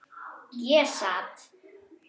Ég sat.